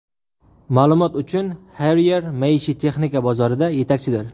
Ma’lumot uchun, Haier maishiy texnika bozorida yetakchidir.